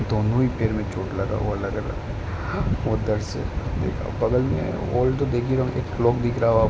दोनों ही पैर में चोट लगा हुआ लग रहा हैं। दिख रहा होगा --